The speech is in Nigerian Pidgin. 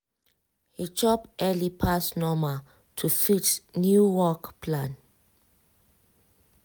he chop early pass normal to fit new work plan.